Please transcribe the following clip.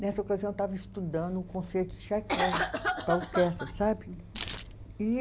Nessa ocasião eu estava estudando um concerto de Tchaikovsky para orquestra, sabe? E